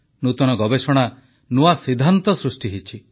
ନୂତନ ଗବେଷଣା ନୂଆ ସିଦ୍ଧାନ୍ତ ସୃଷ୍ଟି ହୋଇଛି